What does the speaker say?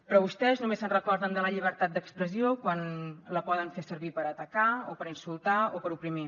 però vostès només se’n recorden de la llibertat d’expressió quan la poden fer servir per atacar o per insultar o per oprimir